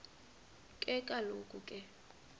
ke kaloku ke